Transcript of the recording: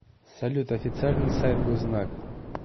салют официальный сайт гознак